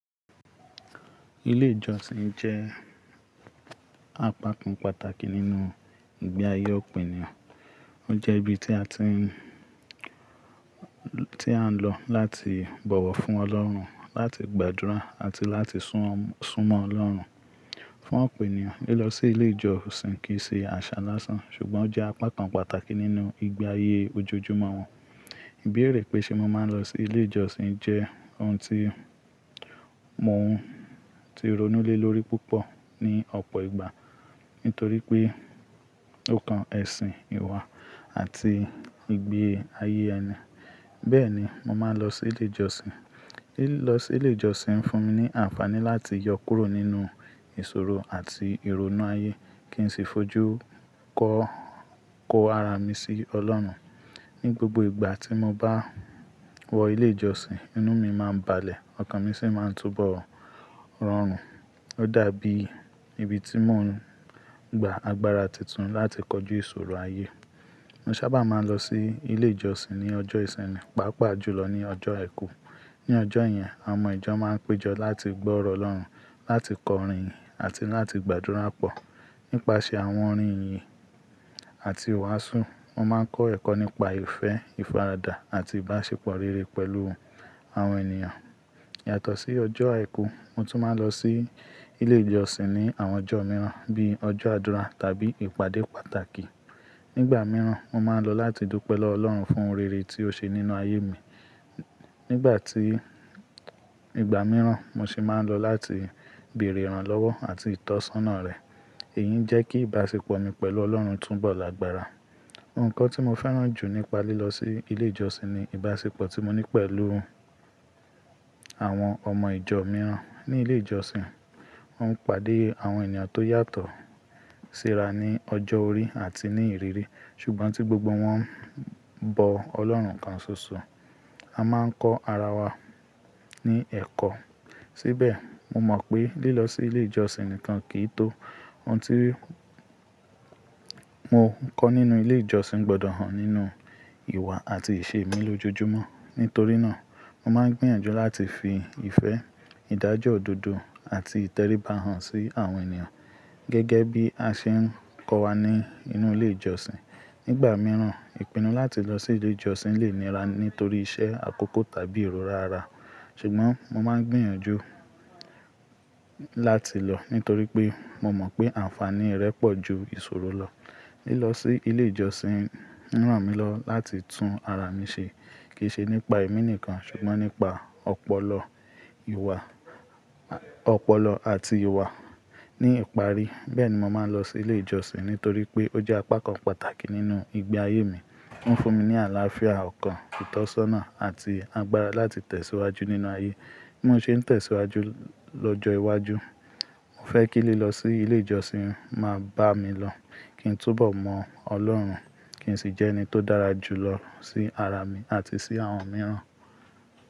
Ilé ìjọsìn jẹ́ apá kan pàtàkì nínú ìgbé ayé òpìnìyàn. Ó jẹ́ ibi tí a ti ń, tí a ń lọ láti bọ̀wọ̀ fún Ọlọ́run, láti gbàdúrà àti láti súnmọ́ Ọlọ́run fún òpìnìyàn. Lílọ sí ilé ìjọsìn kì í ṣe àṣà lásán, ṣùgbọ́n ó jẹ́ apá kan pàtàkì nínú ìgbé ayé ojojúmọ́ wọn. Ìbéèrè pé ṣe mo máa ń lọ sí ilé ìjọsìn jẹ́ ohun tí mo ti ronú lé lórí púpọ̀ ní ọ̀pọ̀ ìgbà. Nítorí pé ó kan ẹ̀sìn, ìwà àti ìgbé ayé ẹni. Bẹ́ẹ̀ni, mo máa ń lọ sí ilé ìjọsìn. Lílọ sí ilé ìjọsìn ń fún mi ní àǹfààní láti yọ kúrò nínú ìṣòro àti ìrònú ayé kí n sì fojú kọ, kó ara mi sí Ọlọ́run. Ni gbogbo ìgbà tí mo bá wọ ilé ìjọsìn, inú mi máa ń balẹ̀, ọkàn mi sì máa ń túbọ̀ rọrùn. Ó dàbí ibi tí mò ń gba agbára titun láti kọjú ìṣòro ayé. Mo sábà máa ń lọ sí ilé ìjọsìn ní ọjọ́ ìsinmi, pàápàá jùlọ ní ọjọ́ àìkú. Ni ọjọ́ yẹn, àwọn ọmọ ìjọ máa ń péjọ láti gbọ́ ọ̀rọ̀ Ọlọ́run, láti kọrin àti láti gbàdúrà pọ̀. Nípasẹ̀ àwọn orin ìyìn àti ìwàásù, wọ́n máa ń kọ́ ẹ̀kọ́ nípa ìfẹ́, ìfaradà àti ìbáṣepọ̀ rere pẹ̀lú àwọn ènìyàn. Yàtọ̀ sí ọjọ́ àìkú, mo tún máa ń lọ sí ilé ìjọsìn ní àwọn ọjọ́ mìíràn bíi ọjọ́ àdúrà tàbí ìpàdé pàtàkì. Nígbà mìíràn, mo máa ń lọ láti dópe lọ Ọlọ́run fún rere tí ó ṣe nínú ayé mi. Nígbà tí, ìgbà mìíràn mo sì máa ń lọ láti bèrè ìrànlọ́wọ́ àti ìtọ́sọ́nà rẹ̀. Èyí ń jẹ́ kí ìbáṣepọ̀ mi pẹ̀lú Ọlọ́run túbọ̀ lagbára. Òǹkọ́ tí mo fẹ́ràn jù nípa lílọ sí ilé ìjọsìn ni ìbáṣepọ̀ tí mo ní pẹ̀lú àwọn ọmọ ìjọ mìíràn ní ilé ìjọsìn. Wọ́n pàdé àwọn ènìyàn tó yàtọ̀ síra ní ọjọ́ orí àti ní ìrírí. Ṣùgbọ́n tí gbogbo wọn ń bọ Ọlọ́run kan ṣoṣo. A máa ń kọ ara wa ní ẹ̀kọ́. Síbẹ̀, mo mọ̀ pé lílọ sí ilé ìjọsìn nìkan kì í tó. Ohun tí mo ń kọ́ nínú ilé ìjọsìn gbọdọ̀ hàn nínú ìwà àti ìṣe mi lójoojúmọ́. Nítorí náà, mo máa ń gbìyànjú láti fi ìfẹ́, ìdájọ́ òdodo àti ìtẹríba hàn sí àwọn ènìyàn, gẹ́gẹ́ bí a ṣe ń kọ́ wa ní inú ilé ìjọsìn. Nígbà mìíràn, ìpinnu láti lọ sí ilé ìjọsìn lè nira nítorí iṣẹ́ àkókò tàbí èrò rara. Ṣùgbọ́n mo máa ń gbìyànjú láti lọ nítorí pé mo mọ̀ pé àǹfààní rẹ̀ pọ̀ ju ìṣòro lọ. Lílọ sí ilé ìjọsìn ń ràn mí lọ láti tún ara mi ṣe kì í ṣe nípa èmi nìkan, ṣùgbọ́n nípa ọpọlọ, ìwà, ọpọlọ àti ìwà ní ìparí. Bẹ́ẹ̀ni, mo máa ń lọ sí ilé ìjọsìn nítorí pé ó jẹ́ apá kan pàtàkì nínú ìgbé ayé mi. Ó ń fún mi ní àlàáfíà ọkàn, ìtọ́sọ́nà àti agbára láti tẹ̀síwájú nínú ayé. Bí mo ṣe ń tẹ̀síwájú lọ́jọ́ iwájú, mo fẹ́ kí lílọ sí ilé ìjọsìn máa bá mi lọ kí n túnbọ̀ mọ̀ Ọlọ́run kí n sì jẹ́ ẹni tó dára jùlọ sí ara mi àti sí àwọn mìíràn.